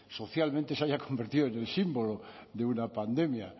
socialmente se haya convertido en el símbolo de una pandemia